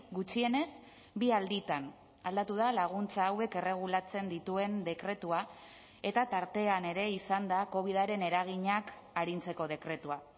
gutxienez bi alditan aldatu da laguntza hauek erregulatzen dituen dekretua eta tartean ere izan da covidaren eraginak arintzeko dekretua